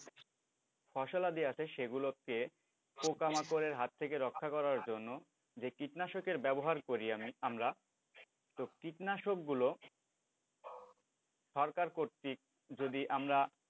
ফসলাদি আছে সেগুলোকে পোকামাকড়ের হাত থেকে রক্ষা করার জন্য যে কীটনাশকের ব্যবহার করি আমি আমরা তো কীটনাশকগুলো সরকার কর্তৃক যদি আমরা,